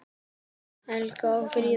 Helgi og Fríða.